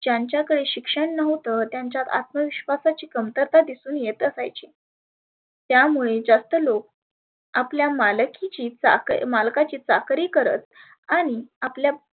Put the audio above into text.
ज्यांच्याकडे शिक्षण नव्हतं त्याच्या अत्मविश्वासाची कमतरता दिसुन येत आसायची. त्यामुळे जास्त लोक आपल्या मालकी ची चाकरी मालकाची चाकरी करत आणि आपल्या